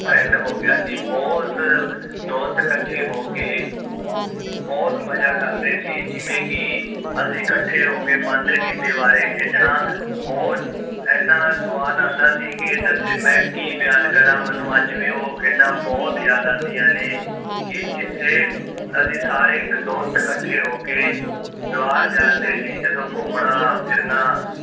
ਐਨਾ ਸੁਵਾਦ ਆਂਦਾ ਸੀ ਕਿ ਦੱਸੋ ਮੈਂ ਕੀ ਬਿਆਨ ਕਾਰਾ ਮੈਨੂੰ ਅੱਜ ਵੀ ਉਹ ਖੇਡਾਂ ਬੁਹਤ ਯਾਦ ਆਂਦੀਆਂ ਨੇ ਕਿ ਅਸੀਂ ਜਿੱਥੇ ਅਸੀਂ ਸਾਰੇ ਇਕ ਦੋਸਤ ਕੱਠੇ ਹੋ ਕੇ ਜਵਾਰ ਜਾਂਦੇ ਸੀ ਜਦੋਂ ਘੁੰਮਣਾ ਫਿਰਨਾ